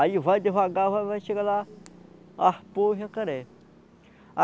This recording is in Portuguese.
Aí vai devagar, vai vai chegar lá, arpou o jacaré.